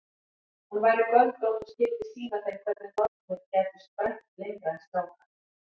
Hún væri göldrótt og skyldi sýna þeim hvernig nornir gætu sprænt lengra en strákar.